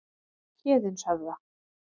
Héðinshöfða